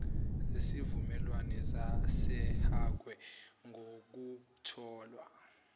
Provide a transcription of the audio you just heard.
zesivumelwane sasehague ngokutholwa